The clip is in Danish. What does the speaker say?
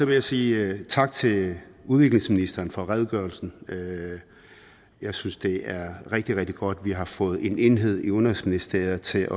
jeg sige tak til udviklingsministeren for redegørelsen jeg synes det er rigtig rigtig godt at vi har fået en enhed i udenrigsministeriet til